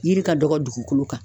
Yiri ka dɔgɔ dugukolo kan.